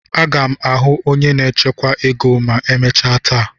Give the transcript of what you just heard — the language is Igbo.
Aga m ahụ onye na-echekwa ego ma emechaa taa.